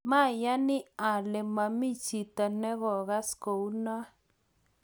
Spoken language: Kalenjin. mayani ale mami chito ne kokas kou noe